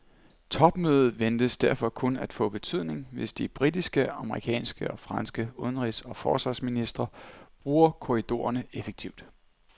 Topmødet ventes derfor kun at få betydning, hvis de britiske, amerikanske og franske udenrigs og forsvarsministre bruger korridorerne effektivt.